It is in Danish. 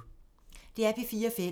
DR P4 Fælles